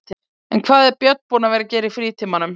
En hvað er Björn búinn að vera að gera í frítímanum?